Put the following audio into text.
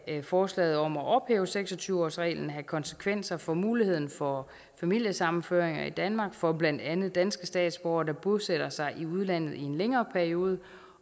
kan forslaget om at ophæve seks og tyve årsreglen have konsekvenser for muligheden for familiesammenføringer i danmark for blandt andet danske statsborgere der bosætter sig i udlandet i en længere periode